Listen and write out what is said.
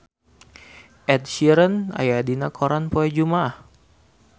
Ed Sheeran aya dina koran poe Jumaah